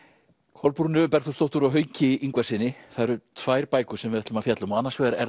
Kolbrúnu Bergþórsdóttur og Hauki Ingvarssyni það eru tvær bækur sem við ætlum að fjalla um annars vegar er